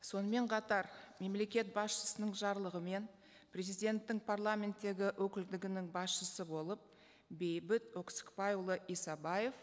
сонымен қатар мемлекет басшысының жарлығымен президенттің парламенттегі өкілдігінің басшысы болып бейбіт өксікбайұлы исабаев